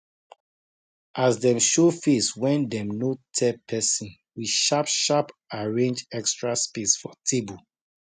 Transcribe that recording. as dem show face wen dem no tell pesin we sharp sharp arrange extra space for table